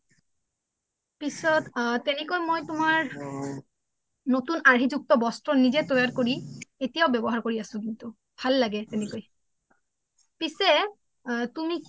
পিছে তেনেকৈ মই তুমাৰ নতুন আৰহি জুক্ত বচ্ত্ৰ নিজে তইয়াৰ কৰি এতিয়াও ৱ্যবহাৰ কৰি আছো কিন্তু ভাল লগে তেনেকই পিছে তুমি